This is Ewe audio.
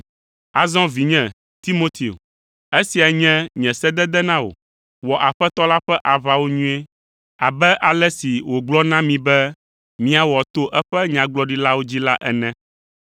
Azɔ vinye, Timoteo, esia nye nye sedede na wò. Wɔ Aƒetɔ la ƒe aʋawo nyuie, abe ale si wògblɔ na mi be míawɔ to eƒe Nyagblɔɖilawo dzi la ene.